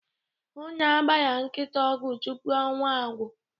Hụ na a gbara nkịta ọgwụ tupu ọnwa agwụ.